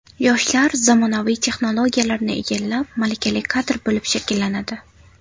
Yoshlar zamonaviy texnologiyalarni egallab, malakali kadr bo‘lib shakllanadi.